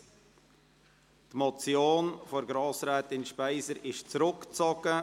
Die Motion von Grossrätin Speiser wurde zurückgezogen.